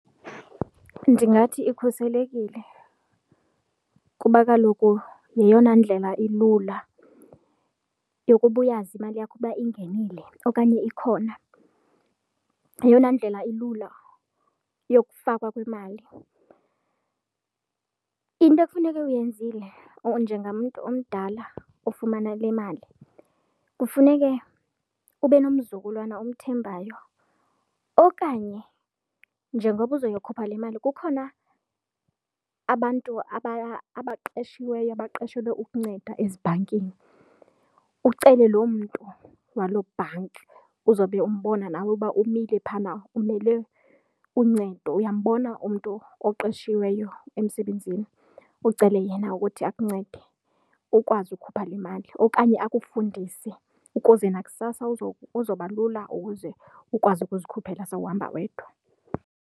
Ndingathi ikhuselekile kuba kaloku yeyona ndlela ilula yokuba uyazi imali yakho ukuba ingenile okanye ikhona, yeyona ndlela ilula yokufakwa kwemali. Into ekufuneke uyenzile or njengamntu omdala ofumana le mali kufuneke ube nomzukulwana omthembayo okanye njengoba uzoyokhupha le mali kukhona abantu abaqashiweyo, baqashelwe ukunceda ezibhankini ucele loo mntu waloo bhanki uzobe umbona nawe uba umile phana umele uncedo, uyambona umntu oqeshiweyo emsebenzini ucele yena ukuthi akuncede ukwazi ukukhupha le mali okanye akufundise ukuze nakusasa uzoba lula ukuze ukwazi ukuzikhuphela sewuhamba wedwa.